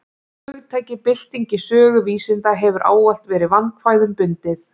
Hugtakið bylting í sögu vísinda hefur ávallt verið vandkvæðum bundið.